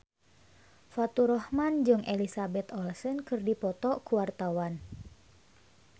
Faturrahman jeung Elizabeth Olsen keur dipoto ku wartawan